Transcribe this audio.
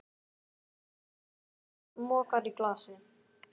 Tekur ausuna og mokar í glasið.